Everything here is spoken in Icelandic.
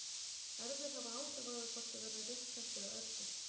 Erfðir hafa áhrif á það hvort við verðum rétthent eða örvhent.